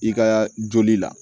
I ka joli la